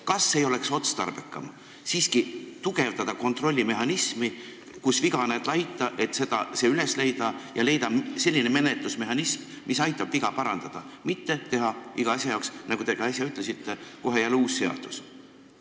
Kas ei oleks otstarbekam siiski tugevdada kontrollmehhanismi, nii et kus viga näed laita, seal saaks selle üles leida, ja leida selline menetlusmehhanism, mis aitab viga parandada, mitte teha iga asja jaoks, nagu te äsja ka ütlesite, kohe jälle uus seadus?